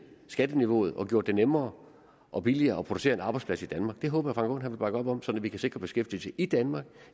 skatteniveauet og gjort det nemmere og billigere at producere en arbejdsplads i danmark det håber frank aaen vil bakke op om sådan at vi kan sikre beskæftigelse i danmark